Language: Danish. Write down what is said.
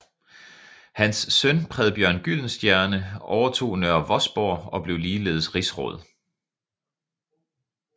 Hans søn Predbjørn Gyldenstierne overtog Nørre Vosborg og blev ligeledes rigsråd